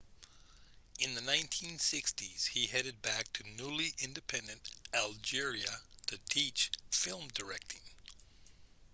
in the 1960s he headed back to newly-independent algeria to teach film directing